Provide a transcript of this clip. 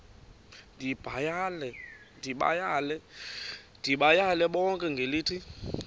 ndibayale bonke ngelithi